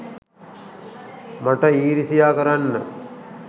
මට ඊරිසියා කරන්න